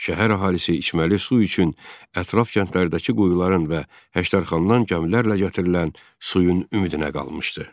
Şəhər əhalisi içməli su üçün ətraf kəndlərdəki quyuların və Həştərxandan gəmilərlə gətirilən suyun ümidinə qalmışdı.